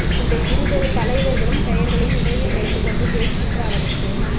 இந்த இருபெரும் தலைவர்களும் பெயர்களை நினைவில் வைத்துக் கொண்டு பேசுகின்ற அளவுக்கு